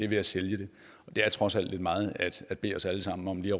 ved at sælge det og det er trods alt en meget billig os alle sammen om lige